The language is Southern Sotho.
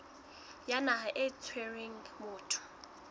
ya naha e tshwereng motho